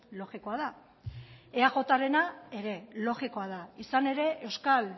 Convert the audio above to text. logikoa da eajrena ere logikoa da izan ere euskal